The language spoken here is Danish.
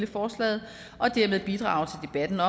forslaget og dermed bidrage